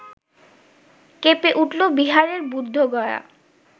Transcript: কেঁপে উঠল বিহারের বুদ্ধগয়া